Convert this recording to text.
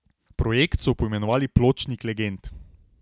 Projekt so poimenovali Pločnik legend.